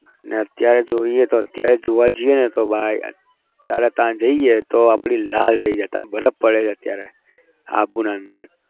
અને અત્યારે જોઈએ તો અત્યારે જોવા જઈએને તો ભાઈ ત્યારે ત્યાં જઈએ તો લાલ થઇ જાય ત્યાં બરફ પડે છે અત્યારે આબુના અંદર